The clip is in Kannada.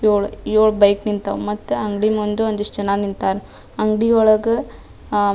ಏಳ್ ಏಳ್ ಬೈಕ್ ನಿಂತವು ಮತ್ತ ಅಂಗಡಿ ಮುಂದೆ ಒಂದಿಷ್ಟ್ ಜನ ನಿಂತರ ಅಂಗಡಿ ಒಳಗ ಅಹ್‌ --